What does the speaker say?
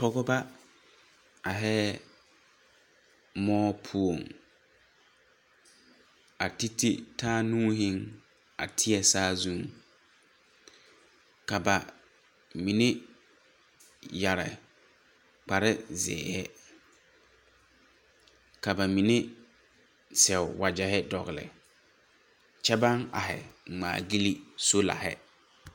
Pogeba ageheɛɛ moɔ poɔŋ a tititaa nuuhiŋ a teɛ saazuŋ ka ba mine yɛrre kpareziihi ka ba mine sɛo wagyɛhi dogle kyɛ baŋ agehi ngmaagyilme soolahi.